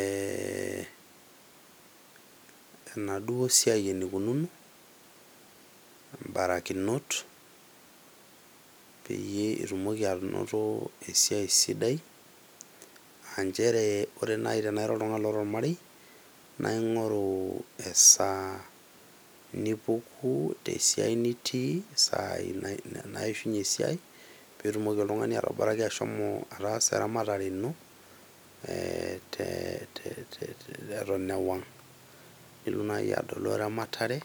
ee enaduoo siai enikununo , mbarakinot ,peyie itumoki anoto esiai sidai aa nchere ore nai tenaa ira oltungani loota ormarei naa ingoru esaa nipuku tesiai nitii, isai naishunye esiai petumoki oltungani atoboraki ahomo ataasa eramatare ino eton ewang, nilotu naji adolu eramatare .